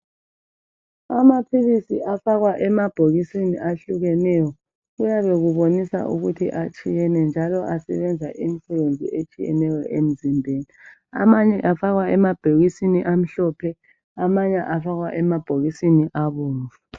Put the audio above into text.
Amaphilisi afakwa emabhokisini ahlukeneyo. Kuyabe kubonisa ukuba atshiyene, njalo asebenza imisebenzi etshiyeneyo emzimbeni. Amanye afakwa emabhokisini amhlophe. Amanye afakwa emabhokisini abomvu.